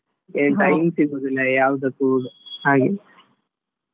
time ಸಿಗುದಿಲ್ಲ ಯಾವ್ದಕ್ಕೂ ಹಾಗೆ .